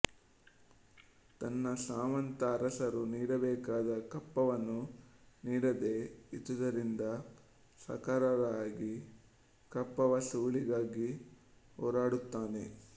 ತನ್ನ ಸಾಮಂತ ಅರಸರು ನೀಡಬೇಕಾದ ಕಪ್ಪವನ್ನು ನೀಡದೇ ಇದ್ದುದರಿಂದ ಸಾಕಾರರಾಯ ಕಪ್ಪವಸೂಲಿಗಾಗಿ ಹೊರಡುತ್ತಾನೆ